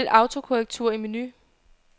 Vælg autokorrektur i menu.